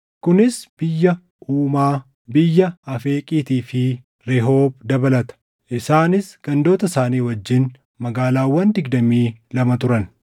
kunis biyya Umaa, biyya Afeeqiitii fi Rehoob dabalata. Isaanis gandoota isaanii wajjin magaalaawwan digdamii lama turan.